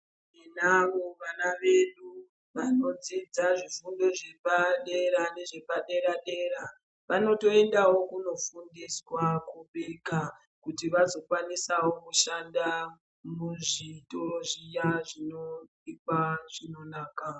Tinavo vana vedu vanodzidza zvifundo zvepadera nezvepadera dera, vanotoendawo kunofundiswa kubika kuti vazokwanisawo kushanda muzvitoro zviya zvinobikwa chinonaka.